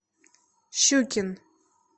щукин